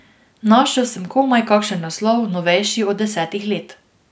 Našel sem komaj kakšen naslov, novejši od desetih let.